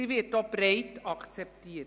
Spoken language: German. Sie wird auch breit akzeptiert.